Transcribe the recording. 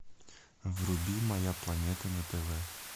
вруби моя планета на тв